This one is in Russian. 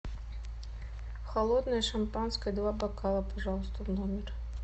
холодное шампанское два бокала пожалуйста в номер